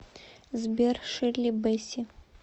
сбер ширли бэсси